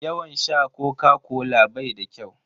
Yawan sha Koka-kola bai da kyau.